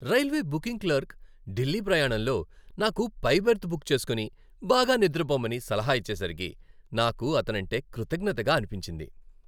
Railway booking clerk Delhi ప్రయాణంలో నాకు పై బెర్త్ బుక్ చేసుకుని, బాగా నిద్రపోమని సలహా ఇచ్చేసరికి నాకు అతనంటే కృతజ్ఞతగా అనిపించింది.